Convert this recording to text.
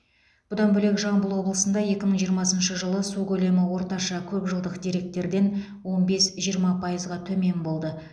бұдан бөлек жамбыл облысында екі мың жиырмасыншы жылы су көлемі орташа көп жылдық деректерден он бес жиырма пайызға төмен болды